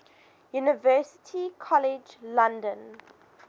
university college london